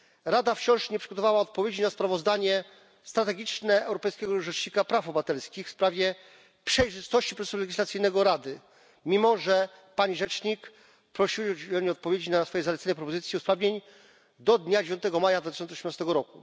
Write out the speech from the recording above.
Rada wciąż nie przygotowała odpowiedzi na sprawozdanie strategiczne Europejskiego Rzecznika Praw Obywatelskich w sprawie przejrzystości procesu legislacyjnego Rady, mimo że pani rzecznik prosiła o udzielenie odpowiedzi na swoje zalecenia i propozycje usprawnień do dnia 9 maja 2018 r.